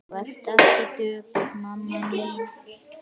Vertu ekki döpur mamma mín.